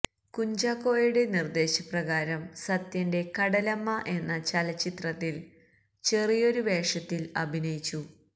കുഞ്ചാക്കോയുടെ നിർദ്ദേശപ്രകാരം സത്യന്റെ കടലമ്മ എന്ന ചലച്ചിത്രത്തിൽ ചെറിയൊരു വേഷത്തിൽ അഭിനയിച്ചു